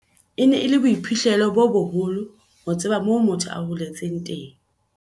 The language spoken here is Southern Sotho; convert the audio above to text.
"E ne e le boiphihlelo bo boholo ho tseba moo motho a holetseng teng."